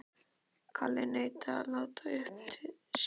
Kalli neitaði að láta uppi sínar sýnir.